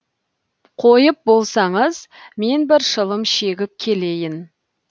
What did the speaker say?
қойып болсаңыз мен бір шылым шегіп келейін